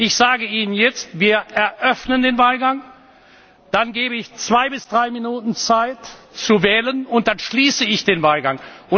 Ich sage Ihnen jetzt Wir eröffnen den Wahlgang, dann gebe ich zwei bis drei Minuten Zeit zu wählen, danach schließe ich den Wahlgang.